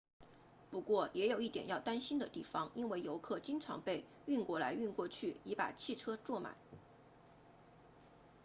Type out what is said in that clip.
不过也有一点要担心的地方因为游客经常被运过来运过去以把汽车坐满